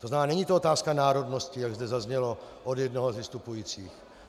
To znamená, není to otázka národnosti, jak zde zaznělo od jednoho z vystupujících.